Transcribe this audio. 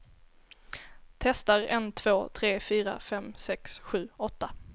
Testar en två tre fyra fem sex sju åtta.